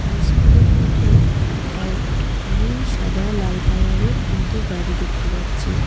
High স্কুলের মাঠে আ নীল সাদা লাল কালারের তিনটি গাড়ি দেখতে পাচ্ছি।